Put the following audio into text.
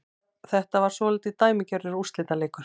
Þetta var svolítið dæmigerður úrslitaleikur